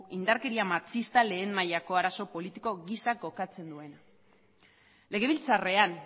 indarkeria matxista lehen mailako arazo politiko gisa kokatzen duena legebiltzarrean